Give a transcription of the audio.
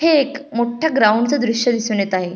हे एक मोठ गाऊन्ड च दृश्य दिसुन येत आहे.